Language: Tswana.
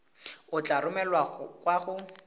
e tla romelwa kwa go